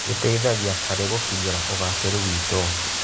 Gĩteithagia harĩ gũkinyĩra ũgacĩĩru witũ.